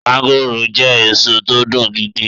mọ́ngòròjẹ́ èso tó dùn gidi e